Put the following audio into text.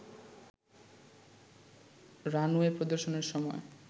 runway প্রদর্শনের সময়